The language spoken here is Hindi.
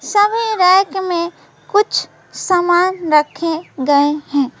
सभी रैक में कुछ सामान रखे गए हैं।